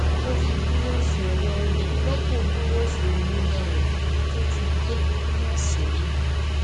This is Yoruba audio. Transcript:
ó fi búrọọṣì ọlọwọ rọpò búrọọṣì oníná rẹ tí ó ti gbó ninú ọsẹ yìí